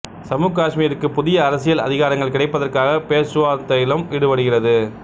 சம்மு காசுமீருக்கு புதிய அரசியல் அதிகாரங்கள் கிடைப்பதற்காகப் பேச்சுவார்த்தையிலும் ஈடுபடுகிறது